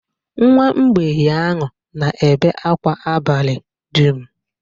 nwa mgbei ahụ na-ebe akwa abalị dum.